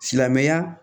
Silamɛya